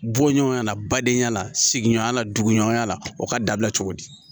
Bɔɲɔgɔnya la badenya la sigiɲɔgɔnya la duguɲuman la o ka dabila cogo di